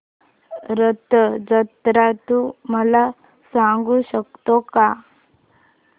रथ जत्रा तू मला सांगू शकतो का